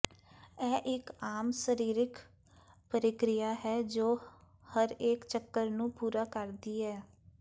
ਇਹ ਇਕ ਆਮ ਸਰੀਰਕ ਪ੍ਰਕਿਰਿਆ ਹੈ ਜੋ ਹਰੇਕ ਚੱਕਰ ਨੂੰ ਪੂਰਾ ਕਰਦੀ ਹੈ